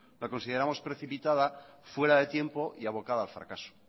la consideramos precipitada fuera de tiempo y abocada al fracaso